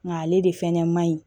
Nka ale de fɛnɛ ma ɲi